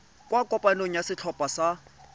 kwa kopanong ya setlhopha sa